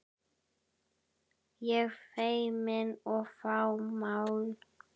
Ég feimin og fámál.